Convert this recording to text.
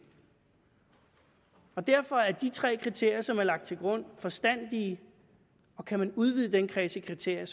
derfor er de tre kriterier som er lagt til grund forstandige og kan man udvide den kreds af kriterier